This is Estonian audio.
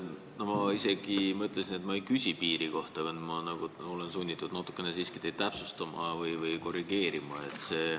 Ma isegi mõtlesin, et ma ei küsi piiri kohta, aga olen sunnitud natukene siiski teid täpsustama või korrigeerima.